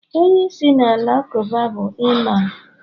onye isi na alakụba bu Iman